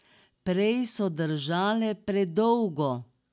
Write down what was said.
Prej so držale predolgo.